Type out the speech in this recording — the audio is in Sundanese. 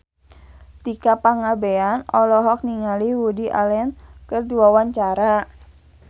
Tika Pangabean olohok ningali Woody Allen keur diwawancara